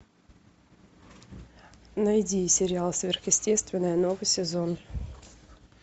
найди сериал сверхъестественное новый сезон